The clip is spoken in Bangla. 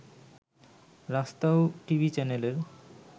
রাস্তাও টিভি চ্যানেলের